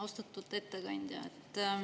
Austatud ettekandja!